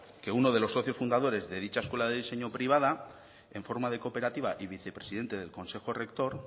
que uno de los socios fundadores de dicha escuela de diseño privada en forma de cooperativa y vice presidente del consejo rector